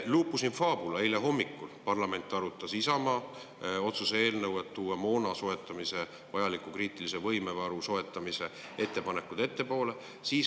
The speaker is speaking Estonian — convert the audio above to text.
Lupus in fabula, eile hommikul arutas parlament Isamaa otsuse eelnõu, mille kohaselt oleks moona, vajaliku kriitilise võime varu soetamine toodud ettepoole.